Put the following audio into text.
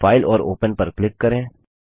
file और open पर click करें